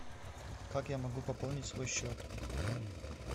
как я могу пополнить свой счет